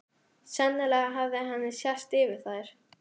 Sennilega hafði henni sést yfir þær.